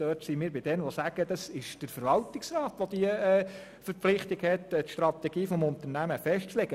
Wir gehören zu denen, die sagen, es sei Sache des Verwaltungsrats, welcher dazu verpflichtet ist, die Strategie des Unternehmens festzulegen.